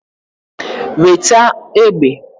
Nweta egbe!